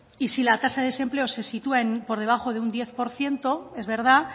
y si la tasa de desempleo se sitúa por debajo de un diez por ciento es verdad